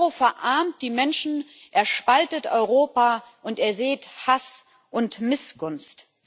Der Euro verarmt die Menschen, er spaltet Europa, und er sät Hass und Missgunst.